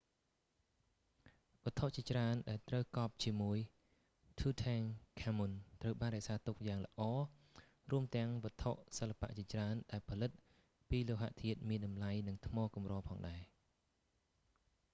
វត្ថុជាច្រើនដែលត្រូវកប់ជាមួយ tutankhamun ត្រូវបានរក្សាទុកយ៉ាងល្អរួមទាំងវត្ថុសិល្បៈជាច្រើនដែលផលិតពីលោហធាតុមានតម្លៃ និងថ្មកម្រផងដែរ